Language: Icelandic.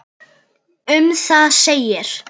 Um það segir: